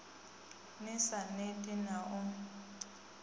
ni sa neti na u